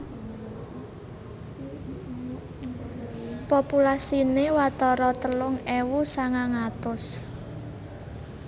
Populasiné watara telung ewu sangang atus